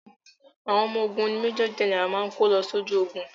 Àwọn ọmọ ogun ni Major general máa kó lọ sójú ogun.